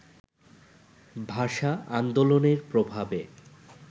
ভাষা-আন্দোলনের প্রভাবে